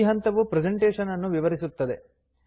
ಈ ಹಂತವು ಪ್ರೆಸೆಂಟೇಷನ್ ಅನ್ನು ವಿವರಿಸುತ್ತದೆ